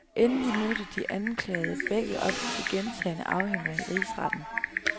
Endelig mødte de anklagede begge op til gentagne afhøringer i rigsretten.